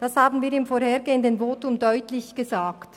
Das haben wir im vorhergehenden Votum deutlich gesagt.